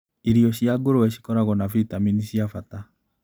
Irio cia ngũrũwe cikoragwo na vitamini cia bata.